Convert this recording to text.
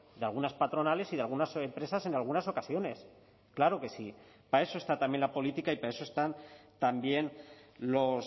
de algunas patronales y de algunas empresas en algunas ocasiones claro que sí para eso está también la política y para eso están también los